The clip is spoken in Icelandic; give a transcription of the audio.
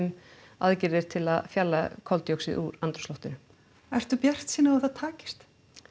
aðgerðir til að fjarlægja koldíoxíð úr andrúmsloftinu ertu bjartsýn á að það takist